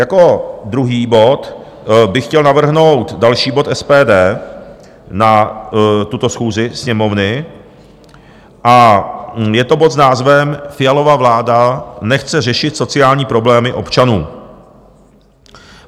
Jako druhý bod bych chtěl navrhnout další bod SPD na tuto schůzi Sněmovny, a je to bod s názvem Fialova vláda nechce řešit sociální problémy občanů.